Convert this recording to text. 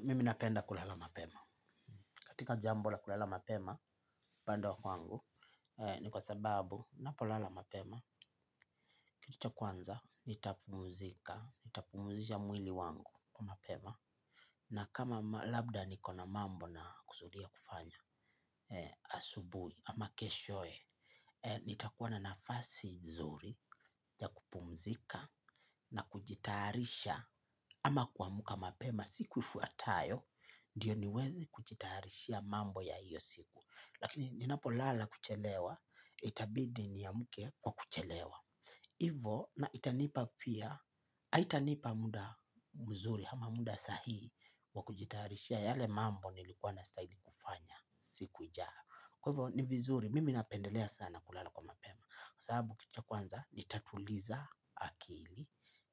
Mimi napenda kulala mapema. Katika jambo la kulala mapema, bado kwangu, ni kwa sababu ninapolala mapema. Kitu cha kwanza, nitapumzika, nitapumzisha mwili wangu mapema. Na kama labda niko na mambo nakusudia kufanya asubuhi ama keshoye nitakuwa na nafasi nzuri ya kupumzika na kujitayarisha ama kuamka mapema siku ifuatayo ndiyo niweze kujitayarishia mambo ya hiyo siku lakini ninapolala kuchelewa itabidi niamke kwa kuchelewa ivo na itanipa pia haitanipa muda mzuri ama muda sahihi wa kujitayarishia yale mambo nilikuwa nastahili kufanya siku ijayo kwa hivyo ni vizuri mimi napendelea sana kulala kwa mapema sababu kitu cha kwanza nitatuliza akili.